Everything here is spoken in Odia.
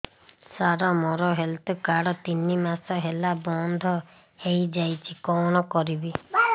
ସାର ମୋର ହେଲ୍ଥ କାର୍ଡ ତିନି ମାସ ହେଲା ବନ୍ଦ ହେଇଯାଇଛି କଣ କରିବି